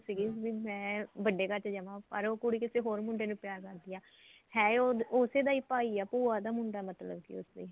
ਸੀਗੀ ਵੀ ਮੈਂ ਵੱਡੇ ਘਰ ਚ ਜਾਵਾ ਪਰ ਉਹ ਕੁੜੀ ਕਿਸੇ ਹੋਰ ਮੁੰਡੇ ਨੂੰ ਪਿਆਰ ਕਰਦੀ ਐ ਹੈ ਤੇ ਉਹ ਉਸੇ ਦਾ ਈ ਭਾਈ ਐ ਭੂਆ ਦਾ ਮੁੰਡਾ ਮਤਲਬ ਕਿ ਉਸਦੇ